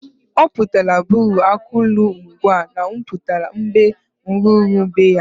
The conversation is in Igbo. Ọ putara buru akụlu mgwa m butalụ, mgbe m ruru be ya.